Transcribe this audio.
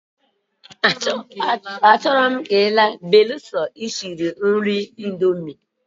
Achoro m ka ipuo beruso isiri nri indomie.